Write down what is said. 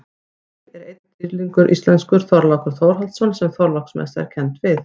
Til er einn íslenskur dýrlingur, Þorlákur Þórhallsson sem Þorláksmessa er kennd við.